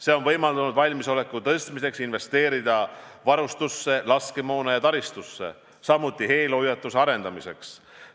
See on võimaldanud valmisoleku tõstmiseks investeerida varustusse, laskemoona ja taristusse, samuti eelhoiatuse arendamiseks.